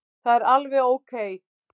Það er alveg ókei.